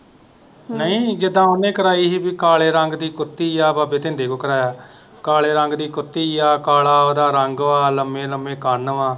ਨਹੀਂ ਜਿਦਾ ਉਹਨੇ ਕਰਾਈ ਹੀ ਪੀ ਕਾਲੇ ਰੰਗ ਦੀ ਕੁੱਤੀ ਆ ਬਾਬੇ ਤਿੰਦੇ ਤੋਂ ਕਰਾਇਆ ਕਾਲੇ ਰੰਗ ਦੀ ਕੁੱਤੀ ਆ, ਕਲਾ ਉਹਦਾ ਰੰਗ ਵਾ, ਲੰਮੇ ਲੰਮੇ ਕੰਨ ਵਾ।